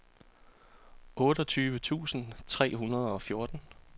otteogtyve tusind tre hundrede og fjorten